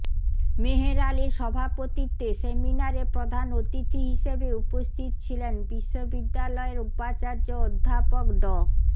মেহের আলীর সভাপতিত্বে সেমিনারে প্রধান অতিথি হিসেবে উপস্থিত ছিলেন বিশ্ববিদ্যালয়ের উপাচার্য অধ্যাপক ড